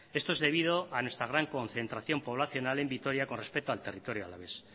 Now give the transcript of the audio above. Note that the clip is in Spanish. esto es debido a nuestra gran concentración poblacional en vitoria con respecto al territorio alavés